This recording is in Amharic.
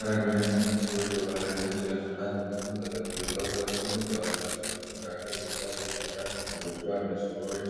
አረጋውያን የሚመስሉ ሰዎች በባህላዊ ነጭ ልብስና ጥምጥም ተጠቅልለው ተቀምጠዋል። በሰዎቹ መካከል በሣር የተሠራ ክብ ጎጆ አለ። ሰዎች